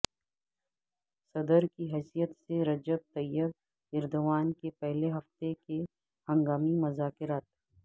صدر کی حیثیت سے رجب طیب ایردوان کے پہلے ہفتے کے ہنگامی مذاکرات